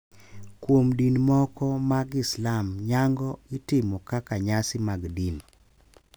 Kuom din moko mag Islam nyango itimo kaka nyasi mag din.